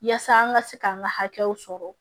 Yaasa an ka se k'an ka hakɛw sɔrɔ